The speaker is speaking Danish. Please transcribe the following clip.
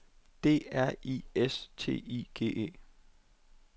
D R I S T I G E